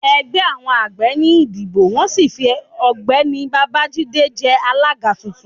ẹgbẹ àwọn àgbẹ̀ ní ìdibọ wọn sì fí ọgbẹni bábájídé jé alága tuntun